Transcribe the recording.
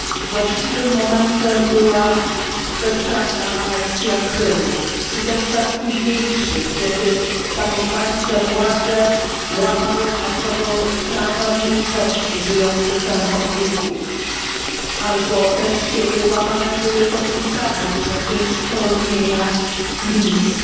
Właściwym momentem była bezprawna aneksja Krymu czy też czas późniejszy, kiedy samozwańcze władze łamały masowo prawa mniejszości żyjących tam od wieków, albo też kiedy łamane były podpisane przecież porozumienia mińskie.